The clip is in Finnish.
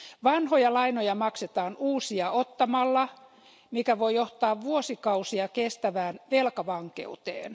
Vanhoja lainoja maksetaan uusia ottamalla, mikä voi johtaa vuosikausia kestävään velkavankeuteen.